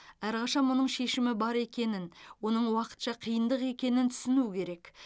әрқашан мұның шешімі бар екенін оның уақытша қиындық екенін түсіну керек